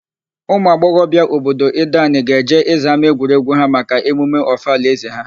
Ụmụagbọghọbia obodo Ideanị ga-eje ịza ámáegwuregwu ha maka emume Ọfala ézē ha.